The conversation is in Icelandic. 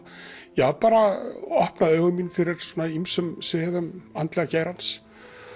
ja bara opnað augu mín fyrir ýmsum sviðum andlega geirans